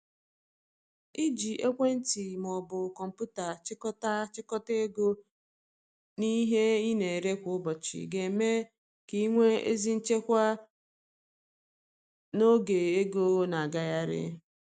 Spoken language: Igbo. Iji ekwentị ma ọ bụ kọmpụta chịkọta chịkọta ego na ihe ị na-ere kwa ụbọchị ga eme ka i nwee ezi nchịkwa n’oge ego na agagharị